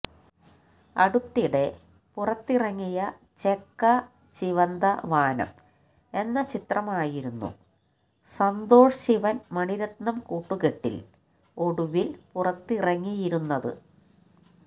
അടുത്തിടെ പുറത്തിറങ്ങിയ ചെക്ക ചിവന്ത വാനം എന്ന ചത്രമായിരുന്നു സന്തോഷ് ശിവന് മണിരത്നം കൂട്ടുകെട്ടില് ഒടുവില് പുറത്തിറങ്ങിയിരുന്നത്